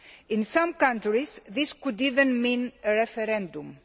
In some countries this could even mean a referendum.